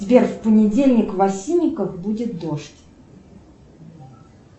сбер в понедельник в осинниках будет дождь